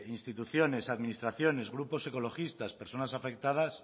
instituciones administraciones grupos ecologistas personas afectadas